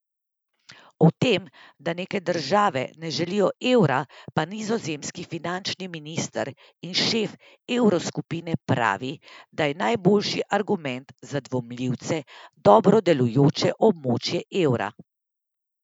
O tem, da nekatere države ne želijo evra, pa nizozemski finančni minister in šef evroskupine pravi, da je najboljši argument za dvomljivce dobro delujoče območje evra.